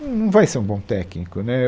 Não, Não vai ser um bom técnico, né